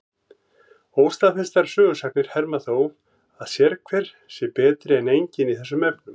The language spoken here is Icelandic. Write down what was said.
Óstaðfestar sögusagnir herma þó að sérhver sé betri en enginn í þessum efnum.